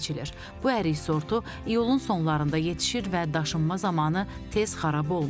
Bu ərik sortu iyulun sonlarında yetişir və daşınma zamanı tez xarab olmur.